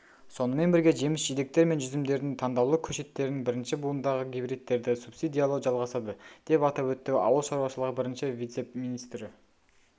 сонымен бірге жеміс-жидектер мен жүзімдердің таңдаулы көшеттерін бірінші буындағы гибридтерді субсидиялау жалғасады деп атап өтті ауыл шаруашылығы бірінші вице-министрі